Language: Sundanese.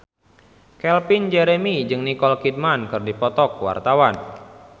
Calvin Jeremy jeung Nicole Kidman keur dipoto ku wartawan